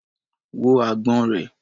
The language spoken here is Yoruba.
Wo agbọ̀n rẹ̀.